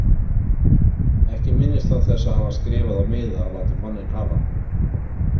Ekki minnist hann þess að hafa skrifað á miða og látið manninn hafa.